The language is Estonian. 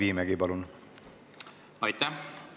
Aitäh!